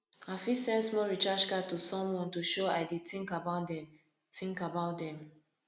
i fit send small recharge card to someone to show i dey think about dem think about dem